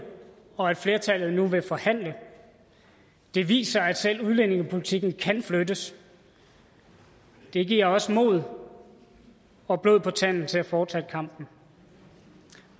og at flertallet nu vil forhandle det viser at selv udlændingepolitikken kan flyttes det giver os mod og blod på tanden til at fortsætte kampen